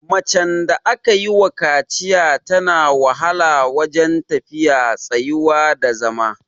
Macen da aka yiwa kaciya tana wahala wajen tafiya, tsayuwa da zama.